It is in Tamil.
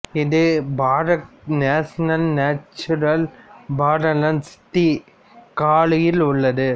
இது park national natural Farallones de காலியில் உள்ளது